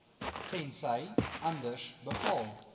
tensy anders bepaal